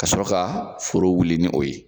Ka sɔrɔ ka foro wuli ni o ye.